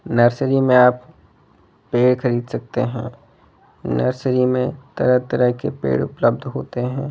nursery में आप पेड़ खरीद सकते है नर्सरी में तरह तरह के पेड़ उपलब्ध होते है इस --